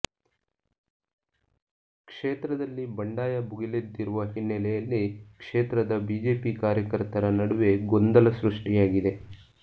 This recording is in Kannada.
ಕ್ಷೇತ್ರದಲ್ಲಿ ಬಂಡಾಯ ಭುಗಿಲೆದ್ದಿರುವ ಹಿನ್ನೆಲೆಯಲ್ಲಿ ಕ್ಷೇತ್ರದ ಬಿಜೆಪಿ ಕಾರ್ಯಕರ್ತರ ನಡುವೆ ಗೊಂದಲ ಸೃಷ್ಠಿಯಾಗಿದೆ